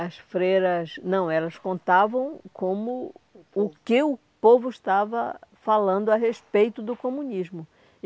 As freiras... Não, elas contavam como... O que o povo estava falando a respeito do comunismo.